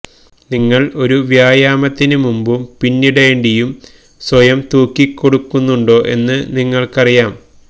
നിങ്ങൾ ഒരു വ്യായാമത്തിന് മുമ്പും പിന്നിടേണ്ടിയും സ്വയം തൂക്കിക്കൊടുക്കുന്നുണ്ടോ എന്ന് നിങ്ങൾക്കറിയാം